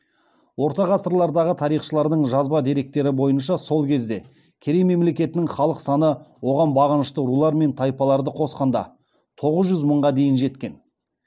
орта ғасырлардағы тарихшыларының жазба деректері бойынша сол кезде керей мемлекетінің халық саны оған бағынышты рулар мен тайпаларды қосқанда тоғыз жүз мыңға дейін жеткен